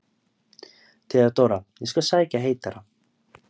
THEODÓRA: Ég skal sækja heitara.